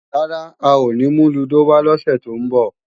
Rárá, a ò ní mú lúdò wá lọ́sè tó ń bọ̀